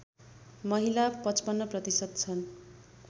महिला ५५ प्रतिशत छन्